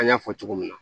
An y'a fɔ cogo min na